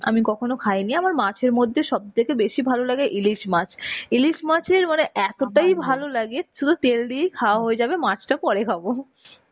আমি কখনো খাইনি. আমার মাছের মধ্যে সবথেকে বেশী ভালো লাগে ইলিশ মাছ. ইলিশ মাছের মানে এতটাই ভালো লাগে শুধু তেল দিয়েই খাওয়া হয়ে যাবে মাছটা পরে খাবো.